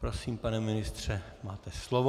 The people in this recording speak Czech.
Prosím, pane ministře, máte slovo.